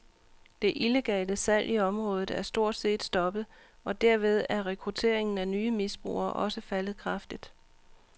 Det illegale salg i området er stort set stoppet, og derved er rekrutteringen af nye misbrugere også faldet kraftigt.